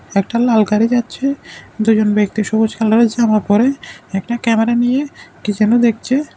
একটা লাল গাড়ি যাচ্ছে দুজন ব্যক্তি সবুজ কালারের জামা পরে একটা ক্যামেরা নিয়ে কি যেন দেখছে।